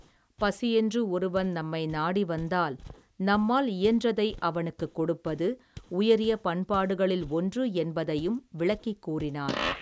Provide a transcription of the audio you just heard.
பசியென்று ஒருவன் நம்மை நாடி வந்தால் நம்மால் இயன்றதை அவனுக்குக் கொடுப்பது உயரிய பண்பாடுகளில் ஒன்று என்பதையும் விளக்கிக் கூறினார்.